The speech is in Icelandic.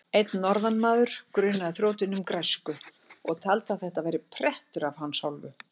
Einn norðanmaður grunaði þrjótinn um græsku og taldi að þetta væri prettur af hans hálfu.